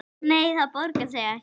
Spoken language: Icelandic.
Nei, það borgar sig ekki.